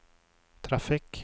trafikk